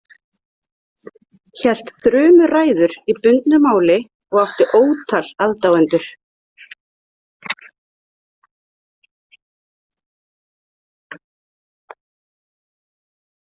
Hélt þrumuræður í bundnu máli og átti ótal aðdáendur.